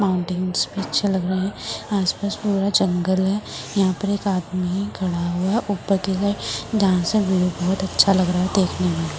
आसपास पूरा जंगल है यह पर एक आदमी खड़ा है जहां से पूरा व्यू बोहोत अच्छा लग रहा है देखने में।